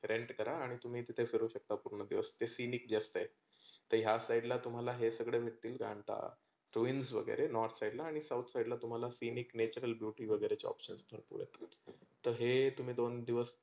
rent करा तुम्ही तीथे फिरू शकता पुर्ण दिवस feeling just like ह्या side ला हे सगळे मिळतील घानटा. two wins north side ला आणि south side ला तुम्हाला scenic natural beauty वगैरे तर हे तुम्ही दोन दिवस